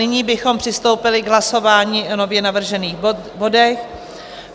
Nyní bychom přistoupili k hlasování o nově navržených bodech.